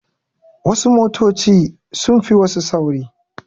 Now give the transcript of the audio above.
Wasu motoci sun fi wasu sauri.